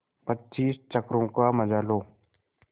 पच्चीस चक्करों का मजा लो